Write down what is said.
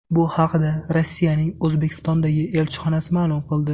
Bu haqda Rossiyaning O‘zbekistondagi elchixonasi ma’lum qildi .